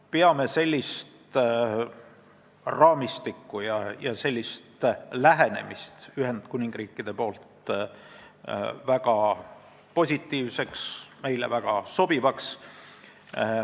Peame sellist raamistikku ja Ühendkuningriigi lähenemist väga positiivseks, meile väga sobivaks.